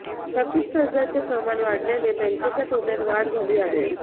थकीत कर्जांचे प्रमाण वाढल्याने बँकेच्या तोट्यात वाढ झाली आहे